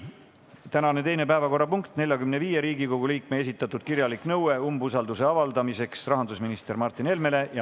Tänane teine päevakorrapunkt: 45 Riigikogu liikme esitatud kirjalik nõue umbusalduse avaldamiseks rahandusminister Martin Helmele.